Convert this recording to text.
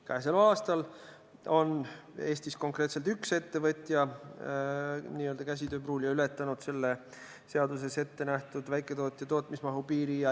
Käesoleval aastal on Eestis konkreetselt üks ettevõtja, käsitööpruulija, ületanud selle seaduses ettenähtud väiketootja tootmismahu piiri.